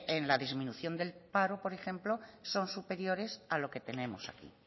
en la disminución del paro por ejemplo son superiores a lo que tenemos aquí